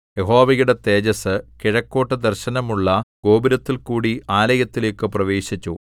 യഹോവയുടെ തേജസ്സ് കിഴക്കോട്ടു ദർശനമുള്ള ഗോപുരത്തിൽകൂടി ആലയത്തിലേക്കു പ്രവേശിച്ചു